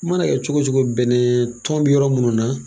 I man'a kɛ cogo cogo bɛnɛɛ tɔn be yɔrɔ munnu na